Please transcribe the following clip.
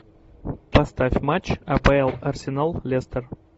поставь матч апл арсенал лестер